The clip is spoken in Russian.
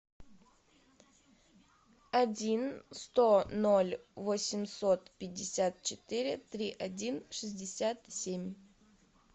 один сто ноль восемьсот пятьдесят четыре три один шестьдесят семь